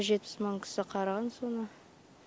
жетпіс мың кісі қараған соны